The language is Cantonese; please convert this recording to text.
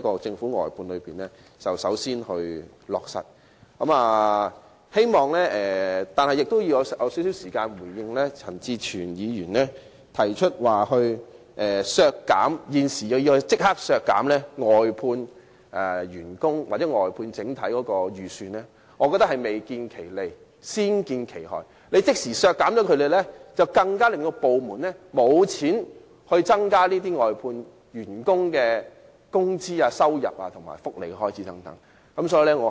最後，我亦希望花少許時間回應陳志全議員，他提出現時立即削減外判員工或外判的整體撥款預算，我認為這建議是未見其利，先見其害，若即時削減撥款，會令部門更缺乏資源增加外判員工的工資、收入和福利開支等。